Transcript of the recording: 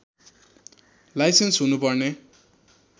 licence हुनु पर्ने